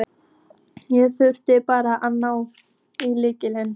Ég þurfti bara að ná í lykilinn.